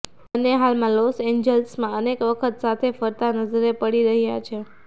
બન્ને હાલમાં લોસ એન્જલસમાં અનેક વખત સાથે ફરતા નજરે પડી રહ્યા છે